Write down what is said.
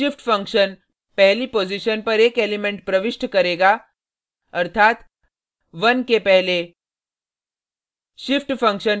unshift function पहली position पर एक एलिमेंट प्रविष्ट करेगा अर्थात 1 के पहले